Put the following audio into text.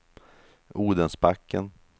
Odensbacken